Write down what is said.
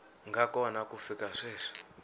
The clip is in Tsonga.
nga kona ku fika sweswi